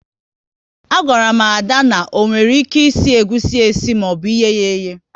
A gwaru m Ada, na onwere ike isi egusi esi maọbụ oye ya eye